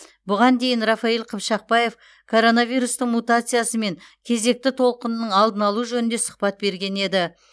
бұған дейін рафаиль қыпшақбаев коронавирустың мутациясы мен кезекті толқынының алдын алу жөнінде сұхбат берген еді